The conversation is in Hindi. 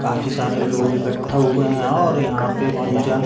काफी सारे लोग इकट्ठा हुए हैं और यंहा पे पूजा --